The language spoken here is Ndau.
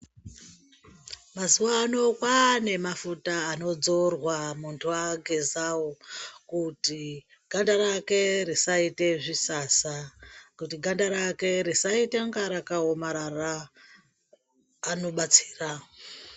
Mazuwa ano kwane mafuta anodzorwa muntu agezawo kuti ganda rake risaite zvisasa. Kuti ganda rake risaitainga rakaomarara anobatsira.